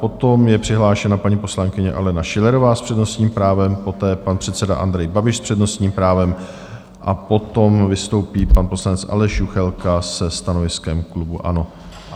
Potom je přihlášena paní poslankyně Alena Schillerová s přednostním právem, poté pan předseda Andrej Babiš s přednostním právem a potom vystoupí pan poslanec Aleš Juchelka se stanoviskem klubu ANO.